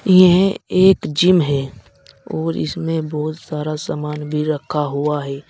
यह एक जिम है और इसमें बहुत सारा सामान भी रखा हुआ है।